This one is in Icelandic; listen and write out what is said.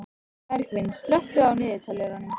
Bergvin, slökktu á niðurteljaranum.